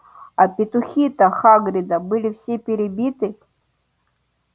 а петухи-то хагрида были все перебиты